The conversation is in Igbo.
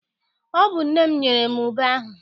Ọ bụ nne m nyere m ube ahụ.